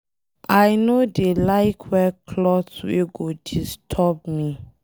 I no dey like wear cloth wey go disturb me.